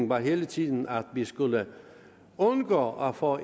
var hele tiden at vi skulle undgå at få